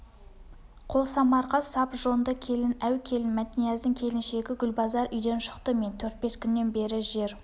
қолсамарға сап жонды келін әу келін мәтнияздың келіншегі гүлбазар үйден шықты мен төрт-бес күннен бері жер